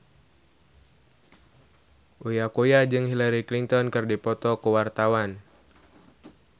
Uya Kuya jeung Hillary Clinton keur dipoto ku wartawan